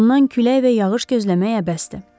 Ondan külək və yağış gözləmək əbəsdir.